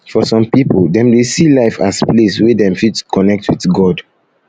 for some pipo dem dey see um life as place wey dem fit connect with god